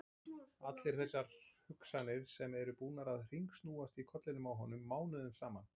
Allar þessar hugsanir sem eru búnar að hringsnúast í kollinum á honum mánuðum saman!